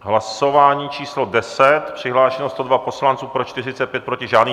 Hlasování číslo 10, přihlášeno 102 poslanců, pro 45, proti žádný.